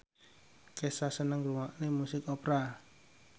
Kesha seneng ngrungokne musik opera